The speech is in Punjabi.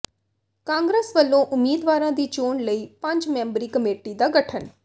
ਕਾਂਗਰਸ ਵਲੋਂ ਉਮੀਦਵਾਰਾਂ ਦੀ ਚੋਣ ਲਈ ਪੰਜ ਮੈਂਬਰੀ ਕਮੇਟੀ ਦਾ ਗਠਨ